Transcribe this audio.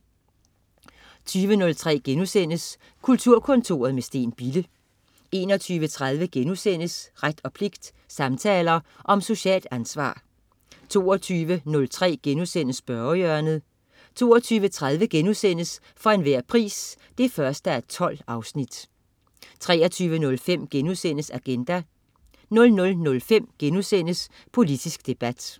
20.03 Kulturkontoret med Steen Bille* 21.30 Ret og pligt. Samtaler om socialt ansvar* 22.03 Spørgehjørnet* 22.30 For enhver pris 1:12* 23.05 Agenda* 00.05 Politisk debat*